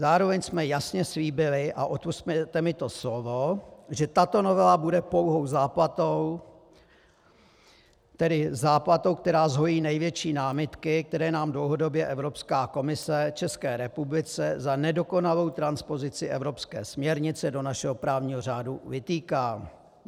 Zároveň jsme jasně slíbili, a odpusťte mi to slovo, že tato novela bude pouhou záplatou, tedy záplatou, která zhojí největší námitky, které nám dlouhodobě Evropská komise, České republice, za nedokonalou transpozici evropské směrnice do našeho právního řádu vytýká.